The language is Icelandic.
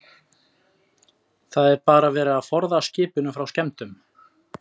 Jón: Það er bara verið að forða skipinu frá skemmdum?